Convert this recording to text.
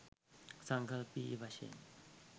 සංකල්පීය වශයෙන්